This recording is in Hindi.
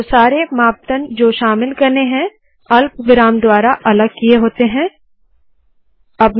तो यहाँ सारे मापदंड जो अल्पविराम द्वारा अलग किए होते है शामिल होने चाहिए